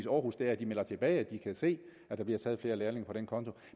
århus er at de melder tilbage at de kan se at der bliver taget flere lærlinge på den konto